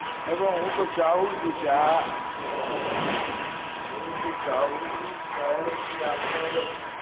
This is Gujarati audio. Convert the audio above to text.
અરે હવે હું તો ચાહું છુ કે આ હું તો ચાહું છું સાહેબ કે આપડે